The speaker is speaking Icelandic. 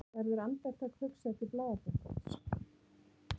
Verður andartak hugsað til blaðabunkans.